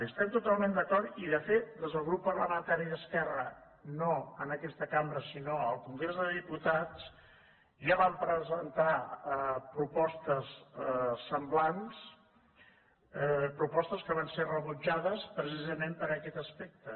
hi estem totalment d’acord i de fet des del grup parlamentari d’esquerra no en aquesta cambra sinó al congrés de diputats ja vam presentar propostes semblants propostes que van ser rebutjades precisament per aquest aspecte